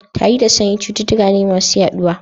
Tari da sanyi cututtuka ne masu yaɗuwa.